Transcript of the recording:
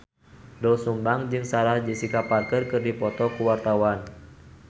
Doel Sumbang jeung Sarah Jessica Parker keur dipoto ku wartawan